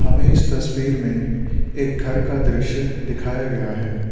हमें इस तस्वीर में एक घर का दृश्य दिखाया गया है।